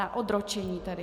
Na odročení tedy.